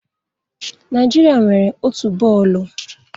Naijiria nwere otu bọọlụ.